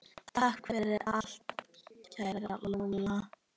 Takk fyrir allt, kæra Lóló.